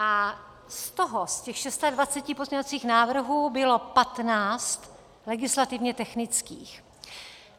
A z toho, z těch 26 pozměňovacích návrhů, bylo 15 legislativně technických.